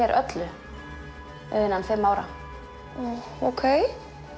öllu innan fimm ára ókei